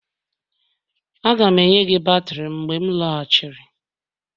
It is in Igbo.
Aga m enye gị batrị m mgbe m lọghachiri